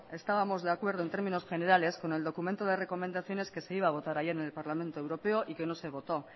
estábamos de acuerdo en términos generales con el documento de recomendaciones que se iba a votar ayer en el parlamento europeo y que no se votó